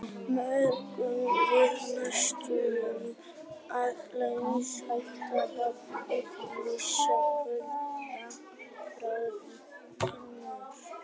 Móðgun við neysluhyggjuna að eldast, hætta á túr, missa kynhvötina, hárið, tennurnar.